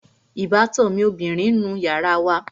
Ìbátan mi ọbìrin ń nu yàrá wa